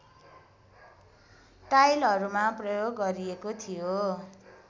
टाइलहरूमा प्रयोग गरिएको थियो